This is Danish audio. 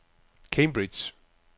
Cambridge